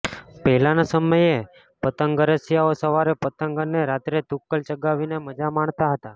પહેલાના સમયે પતંગરસીયાઓ સવારે પતંગ અને રાત્રે તુક્કલ ચગાવીને મજા માણતા હતા છે